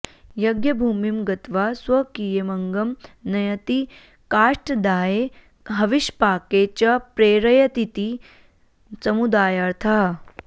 यज्ञभूमिं गत्वा स्वकीयमङ्गं नयति काष्ठदाहे हविष्पाके च प्रेरयतीति समुदायार्थः